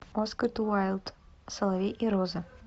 оскар уайльд соловей и роза